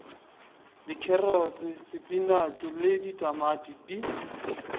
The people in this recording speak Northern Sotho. dikherotse sepinatšhe le ditamati di